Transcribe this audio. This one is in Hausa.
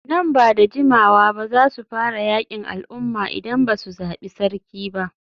Nan ba da jimawa ba za su fara yakin al'umma idan ba su zabi sarki ba.